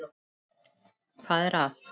Hvað er að?